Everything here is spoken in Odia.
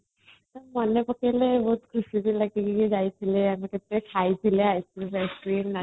ମନେପକେଇଲେ ବହୁତ ଖୁସି ବି ଲାଗେ ଯାଇଥିଲେ ଆମେ ଖାଇଥିଲେ ice cream face cream |